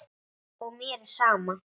Og mér er sama.